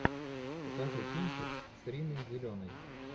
покажи кинчик с риной зеленой